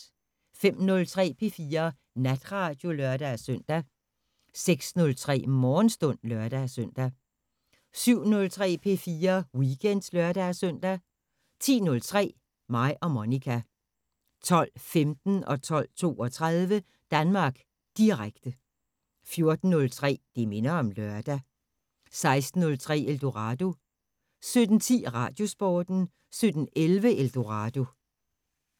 05:03: P4 Natradio (lør-søn) 06:03: Morgenstund (lør-søn) 07:03: P4 Weekend (lør-søn) 10:03: Mig og Monica 12:15: Danmark Direkte 12:32: Danmark Direkte 14:03: Det minder om lørdag 16:03: Eldorado 17:10: Radiosporten 17:11: Eldorado